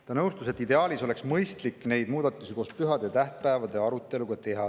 Ta nõustus, et ideaalis oleks mõistlik neid muudatusi koos pühade ja tähtpäevade aruteluga teha.